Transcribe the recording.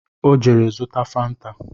Ọ jere zụta fanta